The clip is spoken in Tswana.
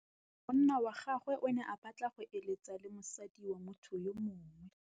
Monna wa gagwe o ne a batla go êlêtsa le mosadi wa motho yo mongwe.